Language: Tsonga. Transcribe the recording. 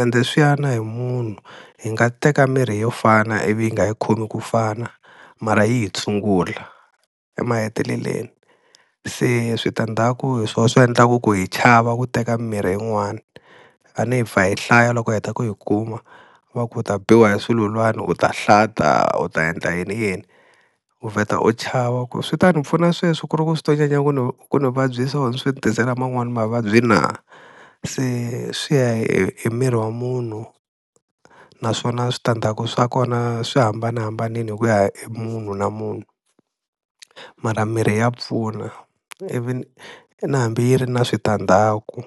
ende swi ya na hi munhu hi nga teka mirhi yo fana ivi yi nga hi khomi ku fana, mara yi hi tshungula emaheteleleni, se switandzhaku hi swona swi endlaka ku hi chava ku teka mirhi yin'wana a ni hi pfa hi hlaya loko hi heta ku yi kuma, va ku u ta biwa hi sululwani, u ta hlanta, u ta endla yini yini u vheta u chava ku swi ta ni pfuna sweswi ku ri ku swi to nyanya ku ni ku ni vabyisa or swi ni tisela man'wani ma va byi na, se swi ya hi miri wa munhu naswona switandzhaku swa kona swi hambanahambanile hi ku ya hi munhu na munhu mara mirhi ya pfuna ivi na hambi yi ri na switandzhaku.